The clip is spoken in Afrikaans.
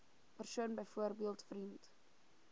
persoon byvoorbeeld vriend